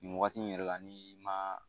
Nin waati in yɛrɛ la ni ma.